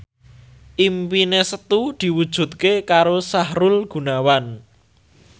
impine Setu diwujudke karo Sahrul Gunawan